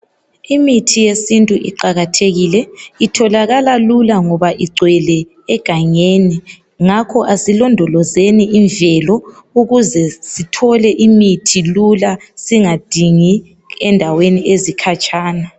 Imithi yesintu iqakathekile itholakala Lula ngoba ingcwele egangeni ngakho asilodolozeni imvelo ukuze Sithole imithi Lula singadingi endaweni ezikhatshana